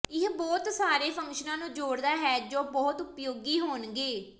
ਇਹ ਬਹੁਤ ਸਾਰੇ ਫੰਕਸ਼ਨਾਂ ਨੂੰ ਜੋੜਦਾ ਹੈ ਜੋ ਬਹੁਤ ਉਪਯੋਗੀ ਹੋਣਗੇ